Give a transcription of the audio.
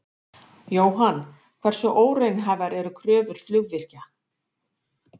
Jóhann: Hversu óraunhæfar eru kröfur flugvirkja?